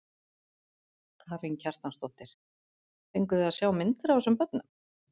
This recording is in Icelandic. Karen Kjartansdóttir: Fenguð þið að sjá myndir af þessum börnum?